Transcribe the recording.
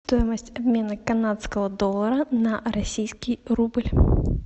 стоимость обмена канадского доллара на российский рубль